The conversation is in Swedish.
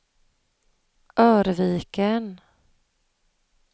Örviken